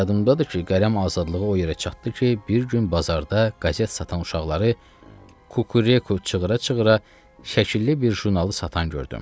Və yadımdadır ki, qələm azadlığı o yerə çatdı ki, bir gün bazarda qəzet satan uşaqları Kukureku çığıra-çığıra şəkilli bir jurnalı satan gördüm.